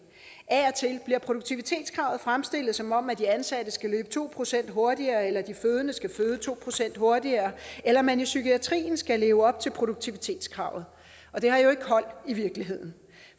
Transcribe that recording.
af og til bliver produktivitetskravet fremstillet som om de ansatte skal løbe to procent hurtigere eller at de fødende skal føde to procent hurtigere eller at man i psykiatrien skal leve op til produktivitetskravet og det har jo ikke hold i virkeligheden